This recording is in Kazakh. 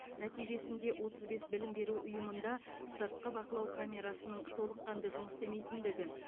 нәтижесінде отыз бес білім беру ұйымында сыртқы бақылау камерасының толыққанды жұмыс істемейтіндігі